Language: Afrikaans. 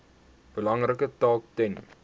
belangrike taak ten